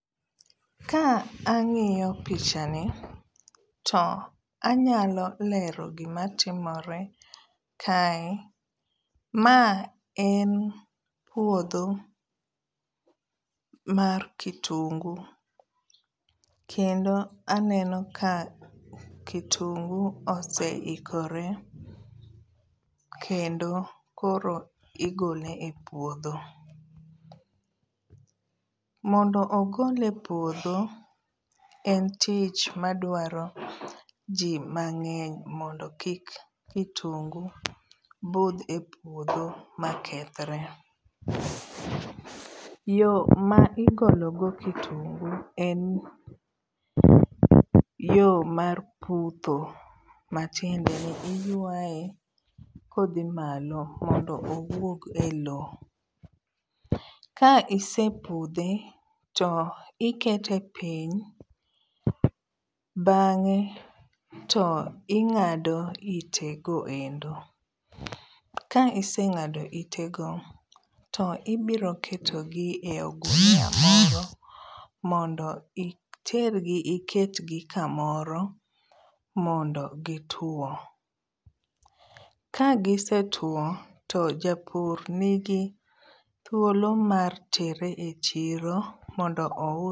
Ka ang'iyo pichani to anyalo lero gimatimore kae. Ma en puodho mar kitungu kendo aneno ka kitungu oseikore kendo koro igole e puodho. Mondo ogole puodho en tich madwaro jii mang'eny mondo kik kitungu budh e puodho makethre. Yoo ma igologo kitungu en yoo mar putho matiendeni iyuae kodhi malo mondo owuog e loo. Ka isepudhe to ikete piny bang'e to ing'ado itego endo. Ka iseng'ado itego to ibiro ketogi e ogunia moro mondo itergi iketgi kamoro mondo gituo. Ka gisetuo to japur nigi thuolo mar tere e chiro mondo ou[um]sgi.